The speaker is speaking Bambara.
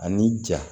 Ani ja